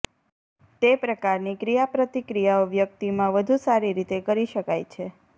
તે પ્રકારની ક્રિયાપ્રતિક્રિયાઓ વ્યક્તિમાં વધુ સારી રીતે કરી શકાય છે